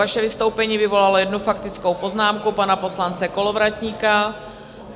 Vaše vystoupení vyvolalo jednu faktickou poznámku pana poslance Kolovratníka.